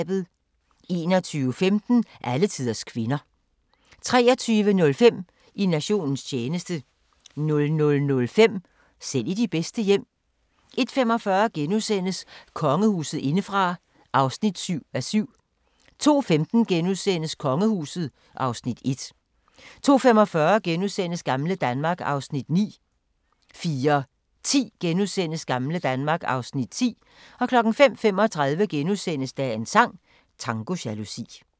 21:15: Alletiders kvinder 23:05: I nationens tjeneste 00:05: Selv i de bedste hjem 01:45: Kongehuset indefra (7:7)* 02:15: Kongehuset (Afs. 1)* 02:45: Gamle Danmark (Afs. 9)* 04:10: Gamle Danmark (Afs. 10)* 05:35: Dagens sang: Tango jalousi *